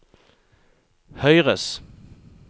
høyres